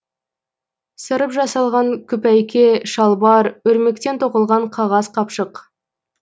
сырып жасалған күпәйке шалбар өрмектен тоқылған қағаз қапшық